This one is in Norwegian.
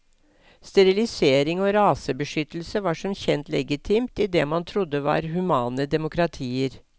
Sterilisering og rasebeskyttelse var som kjent legitimt i det man trodde var humane demokratier.